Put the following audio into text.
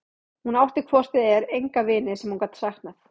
Hún átti hvort eð var enga vini sem hún gat saknað.